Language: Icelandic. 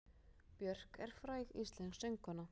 Björk er fræg íslensk söngkona.